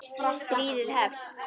Stríðið hefst